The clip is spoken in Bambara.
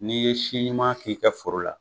N'i ye siɲuman k'i ka foro la